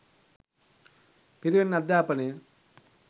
පිරිවෙන් අධ්‍යාපනය